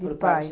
De pai.